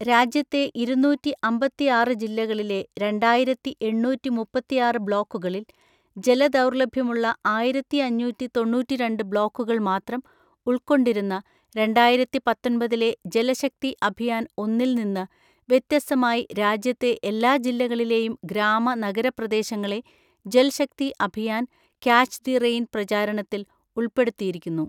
രാജ്യത്തെ ഇരുന്നൂറ്റി അമ്പത്തിആറ് ജില്ലകളിലെ രണ്ടായിരത്തി എണ്ണൂറ്റി മുപ്പത്തിആറ് ബ്ലോക്കുകളിൽ, ജലദൗർലഭ്യമുള്ള ആയിരത്തി അഞ്ഞൂറ്റി തൊണ്ണൂറ്റിരണ്ട് ബ്ലോക്കുകൾ മാത്രം ഉൾക്കൊണ്ടിരുന്ന രണ്ടായിരത്തി പത്തൊന്‍പതിലെ ജലശക്തി അഭിയാൻ ഒന്നിൽ നിന്ന് വ്യത്യസ്തമായി രാജ്യത്തെ എല്ലാ ജില്ലകളിലെയും ഗ്രാമ നഗര പ്രദേശങ്ങളെ Jal Shakti Abhiyan, catch the rain പ്രചാരണത്തിൽ ഉൾപ്പെടുത്തിയിരിക്കുന്നു.